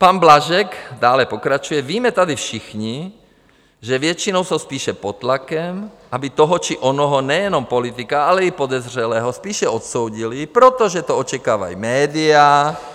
Pan Blažek dále pokračuje: "Víme tady všichni, že většinou jsou spíše pod tlakem, aby toho či onoho nejenom politika, ale i podezřelého spíše odsoudili, protože to očekávají média."